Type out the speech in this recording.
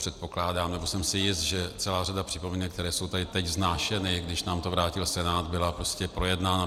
Předpokládám, nebo jsem si jist, že celá řada připomínek, které jsou tady teď vznášeny, když nám to vrátil Senát, byla prostě projednána.